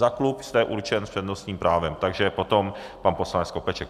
Za klub jste určen s přednostním právem, takže potom pan poslanec Skopeček.